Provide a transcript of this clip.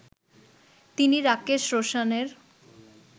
তিনি রাকেশ রোশানের